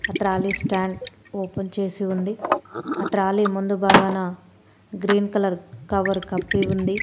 Trolley stand open చేసి ఉంది ఆ ట్రాలీ ముందు భాగాన గ్రీన్ కలర్ కవర్ కప్పి ఉంది.